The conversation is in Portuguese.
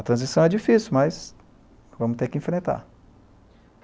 A transição é difícil, mas vamos ter que enfrentar.